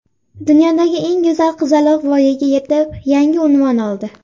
Dunyodagi eng go‘zal qizaloq voyaga yetib, yangi unvon oldi.